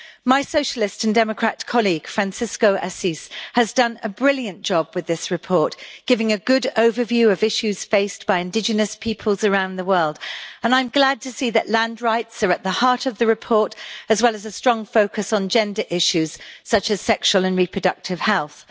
My Socialist and Democrat colleague, Francisco Assis, has done a brilliant job with this report, giving a good overview of issues faced by indigenous peoples around the world and I am glad to see that land rights are at the heart of the report, as well as a strong focus on gender issues, such as sexual and reproductive health.